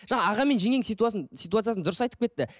жаңа аға мен жеңгенің ситуациясын дұрыс айтып кетті